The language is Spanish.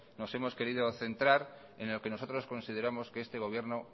nos hemos querido centrar en lo que nosotros consideramos que este gobierno